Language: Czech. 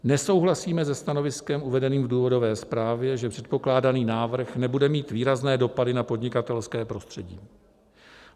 Nesouhlasíme se stanoviskem uvedeným v důvodové zprávě, že předpokládaný návrh nebude mít výrazné dopady na podnikatelské prostředí.